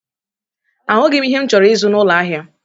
Ahụghị m ihe m chọrọ ịzụ n'ụlọ ahịa.